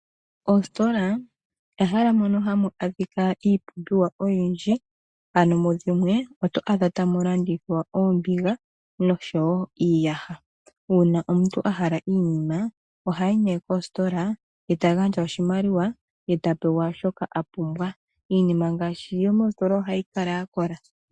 Oositola ehala mono hamu adhika ipumbiwa oyindji, ano mudhimwe oto adha tamu landithwa oombiga noshowo iiyaha. Uuna omuntu a hala oshinima ohayi nee kositola ye ta gandja oshimaliwa ye tapewa shoka a pumbwa. Iinima ngaashi yomoositola ohayi kala ya kola.